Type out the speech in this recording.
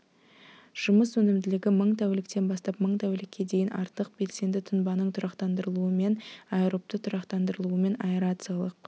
жұмыс өнімділігі мың тәуліктен бастап мың тәулікке дейін артық белсенді тұнбаның тұрақтандырылуымен аэробты тұрақтандырылуымен аэрациялық